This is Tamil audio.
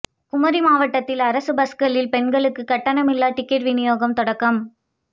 குமரி மாவட்டத்தில் அரசு பஸ்களில் பெண்களுக்கு கட்டணமில்லா டிக்கெட் வினியோகம் தொடக்கம்